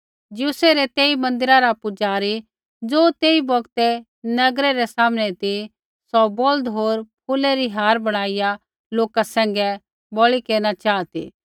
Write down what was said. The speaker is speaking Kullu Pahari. ज्यूसै रै तेई मन्दिरा रा पुजारी ज़ो तेई बौगतै नगरै रै सामनै ती सौ बौल्द होर फूलै री हार बणाईया लोका सैंघै बलि केरना चाहा ती